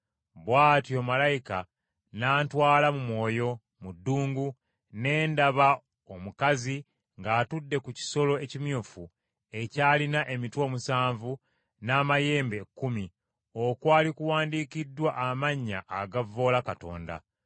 Bw’atyo malayika n’antwala mu mwoyo, mu ddungu, ne ndaba omukazi ng’atudde ku kisolo ekimyufu ekyalina emitwe omusanvu n’amayembe ekkumi, okwali kuwandiikiddwa amannya agavvoola Katonda.